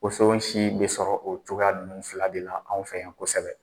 Wosonsi bɛ sɔrɔ o cogoya ninnu fila de la an fɛ yan kosɛbɛ.